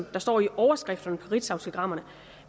der står i overskrifterne på ritzautelegrammerne